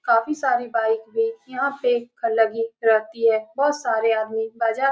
काफी सारे बाइक भी यहाँ पे ख-लगी रहती है बहुत सारे आदमी बाज़ा --